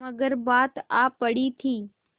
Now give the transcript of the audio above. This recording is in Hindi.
मगर बात आ पड़ी थी